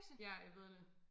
Ja jeg ved det